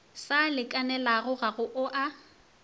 sa lekanelago ga go a